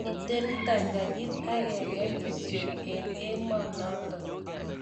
3)Miten ptanganyit agenge kityo eng emonoton.